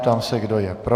Ptám se, kdo je pro.